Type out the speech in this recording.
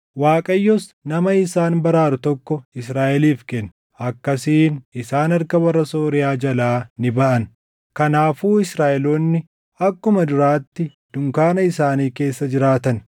Waaqayyos nama isaan baraaru tokko Israaʼeliif kenne; akkasiin isaan harka warra Sooriyaa jalaa ni baʼan. Kanaafuu Israaʼeloonni akkuma duraatti dunkaana isaanii keessa jiraatan.